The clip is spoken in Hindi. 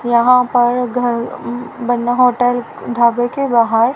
यहां पर घर बना होटल ढाबे के बाहर--